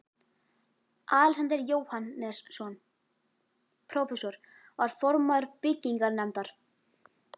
Alexander Jóhannesson, prófessor, var formaður byggingarnefndar